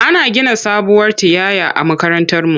Ana gina sabuwar tiyaya a makarantarmu.